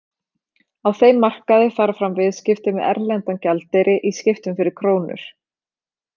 Á þeim markaði fara fram viðskipti með erlendan gjaldeyri í skiptum fyrir krónur.